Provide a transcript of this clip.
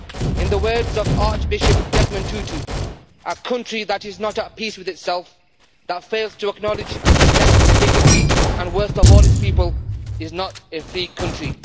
In the words of Archbishop Desmond Tutu A country that is not at peace with itself, that fails to acknowledge and protect the dignity and worth of all its people, is not a free country'.